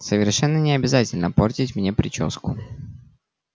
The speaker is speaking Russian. совершенно не обязательно портить мне причёску